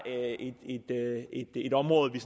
et område vi